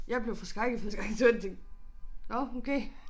Jeg blev forskrækket første gang jeg så den tænkte nåh okay